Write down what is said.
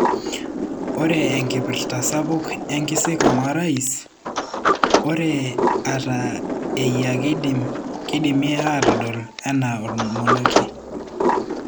Ore enkipirta sapuk e nkisikong orais ,ore ata eyia keidimi atodol ana omonokie.